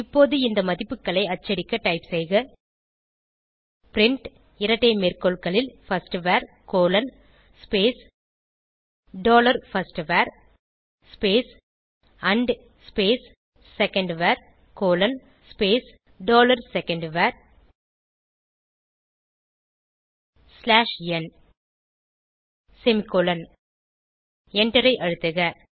இப்போது இந்த மதிப்புகளை அச்சடிக்க டைப் செய்க பிரின்ட் இரட்டை மேற்கோள்களில் firstVar dollar first var and secondVar dollar second var slash n semicolon எண்டரை அழுத்துக